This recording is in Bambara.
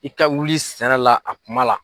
I ka wuli sɛnɛ la a kuma la.